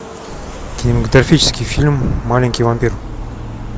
кинематографический фильм маленький вампир